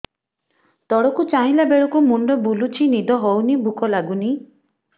ତଳକୁ ଚାହିଁଲା ବେଳକୁ ମୁଣ୍ଡ ବୁଲୁଚି ନିଦ ହଉନି ଭୁକ ଲାଗୁନି